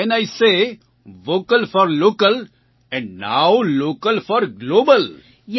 so when I say vocal for local and now local for global